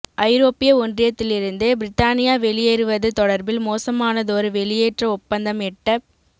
ஐரோப்பிய ஒன்றியத்திலிருந்து பிரித்தானியா வெளியேறுவது தொடர்பில் மோசமானதொரு வெளியேற்ற ஒப்பந்தம் எட்டப்